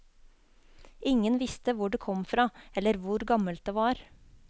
Ingen visste hvor det kom fra, eller hvor gammelt det var.